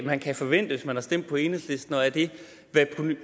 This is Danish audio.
man kan forvente hvis man har stemt på enhedslisten og er det